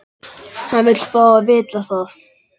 Hann vill fá að vita það.